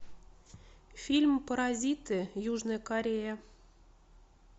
фильм паразиты южная корея